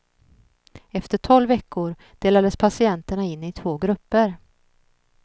Efter tolv veckor delades patienterna in i två grupper.